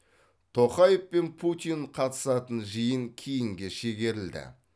тоқаев пен путин қатысатын жиын кейінге шегерілді